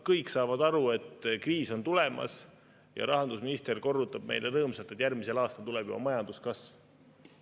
Kõik saavad aru, et kriis on tulemas, aga rahandusminister korrutab meile rõõmsalt, et juba järgmisel aastal tuleb majanduskasv.